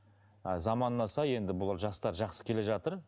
ы заманына сай енді бұл жастар жақсы келе жатыр